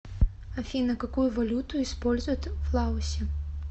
афина какую валюту используют в лаосе